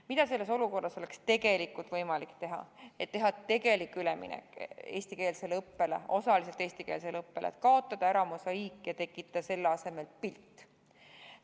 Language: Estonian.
Mida selles olukorras oleks võimalik teha, et minna üle eestikeelsele õppele, osaliseltki eestikeelsele õppele, et kaotada ära mosaiik ja tekitada selle asemel pilt?